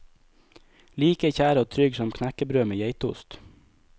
Like kjær og trygg som knekkebrød med geitost.